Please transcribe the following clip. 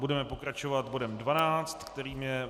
Budeme pokračovat bodem 12, kterým je